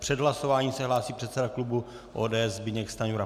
Před hlasováním se hlásí předseda klubu ODS Zbyněk Stanjura.